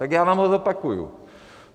Tak já vám ho zopakuju.